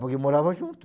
Porque morava junto.